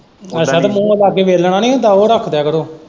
ਅੱਛਾ ਮੂੰਹ ਉਹਦੇ ਲਾਂਗੇ ਵੇਲਣਾ ਨੀ ਹੁੰਦਾ ਉਹ ਰੱਖ ਦਿਆਂ ਕਰੋ।